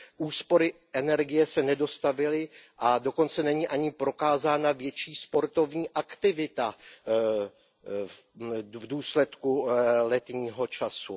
Úspory energie se nedostavily a dokonce není ani prokázána větší sportovní aktivita v důsledku letního času.